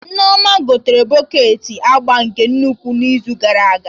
Nneoma gotere bọketị agba nke nnukwu n'izu gara aga